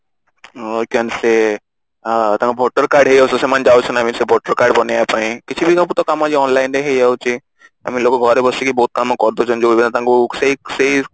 I can say କଣ ତାଙ୍କ voter card ହେଇଯାଉ ସେମାନନେ ଯାଉଛନ୍ତି ନା ସେ voter card ବନେଇବା ପାଇଁ କିଛି ବି online ରେ ହେଇ ଯାଉଛି I mean ଲୋକ ଘରେ ବସିକି ବହୁତ କାମ କରି ଦଉଛନ୍ତି ଯୋଉ ଭଳିଆ ତାଙ୍କୁ ସେଇ ସେଇ